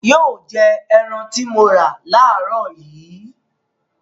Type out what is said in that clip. Yóò jẹ ẹran tí mo rà láàárọ̀ yìí.